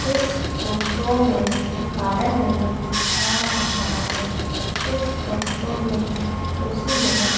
इस फोटो में गार्डन नजर आ रहा है इस फोटो में कुर्सी सी नजर--